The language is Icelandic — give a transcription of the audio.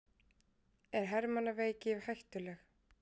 Er hermannaveiki hættuleg?